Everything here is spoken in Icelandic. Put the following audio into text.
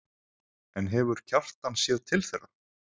En hefur Kjartan séð til þeirra?